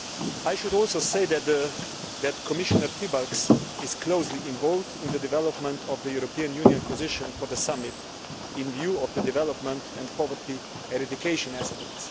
I should also say that Commissioner Piebalgs is closely involved in the development of the European Union position for the summit, in view of the development and poverty eradication aspects.